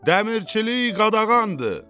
Dəmirçilik qadağandır!